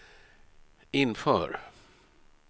inför